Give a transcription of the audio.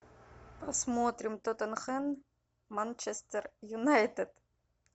посмотрим тоттенхэм манчестер юнайтед